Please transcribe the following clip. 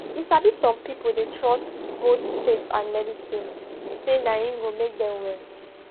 you sabi some people dey trust both faith and medicine sey na em go make them well